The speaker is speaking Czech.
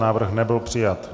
Návrh nebyl přijat.